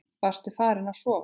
Varstu farin að sofa?